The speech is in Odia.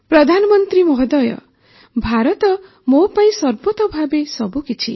ପ୍ରଧାନମନ୍ତ୍ରୀ ମହୋଦୟ ଭାରତ ମୋ ପାଇଁ ସର୍ବତୋ ଭାବେ ସବୁକିଛି